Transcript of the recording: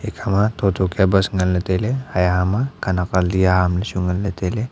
ekhama thotho kia bus nganley tailey hai hama khanak ali ahamley chu nganley tailey.